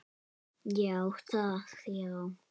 Já, það já.